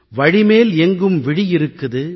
வழிமேல் எங்கும் விழி இருக்குது